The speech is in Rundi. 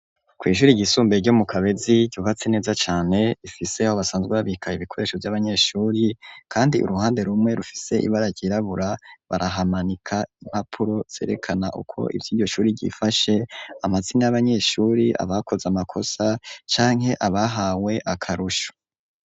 Ku shuri ryisumbe ryo mu Kabezi ryubatse neza cane rifise aho basanzwe babika ibikoresho vy'abanyeshuri kandi uruhande rumwe rufise ibara ryirabura barahamanika impapuro zerekana uko ivyiryo shuri ryifashe amazina y'abanyeshuri abakoze amakosa canke abahawe akarusho.